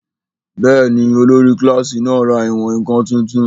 Bẹ́ẹ̀ni, olórí kílásì náà ra ìwọ̀n-ǹkan tuntun